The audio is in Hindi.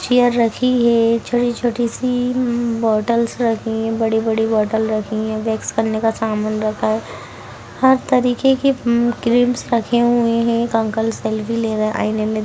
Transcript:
और चीयर रखी है छोटी-छोटी सी अम बोटल्स रखी है बड़ी-बड़ी बोटल रखी है बैकस करने का सामान रखा है हर तरीके के क्रीमस रखे हुए है अंकल सेल्फ़ी ले रहें है आईने में--